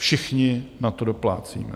Všichni na to doplácíme.